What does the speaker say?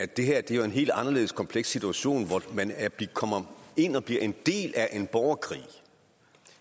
det her er jo en helt anderledes kompleks situation hvor man kommer ind og bliver en del af en borgerkrig